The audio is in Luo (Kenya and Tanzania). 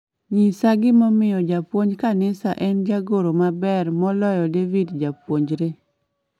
nyisa gimomiyo japuonj kanisa en jagoro maber moloyo david japuonjre